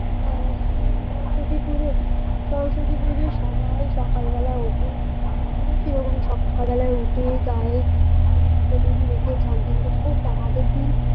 আহ সরস্বতী পুজো সরস্বতী পূজোয় সবাই সকাল বেলায় ওঠে আমিও সেরকম সকাল বেলায় উঠে গায়ে হলুদ টলুদ মেখে চান টান করে ও তার আগের দিন